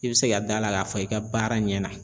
I bɛ se ka d'a la k'a fɔ i ka baara ɲɛna